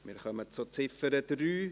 Wir kommen zur Ziffer 3.